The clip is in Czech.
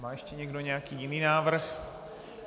Má ještě někdo nějaký jiný návrh?